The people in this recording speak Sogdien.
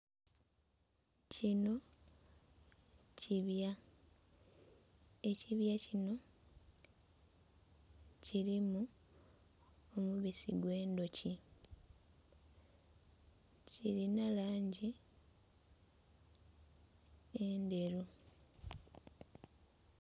Kinho kibya, ekibya kinho kirimu omubisi ogw'endhuki kirinha langi endheru.